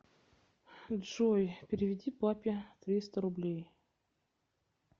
джой переведи папе триста рублей